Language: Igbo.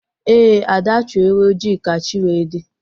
Ee, Ada Chụọ ewu ojii ka chi wee dị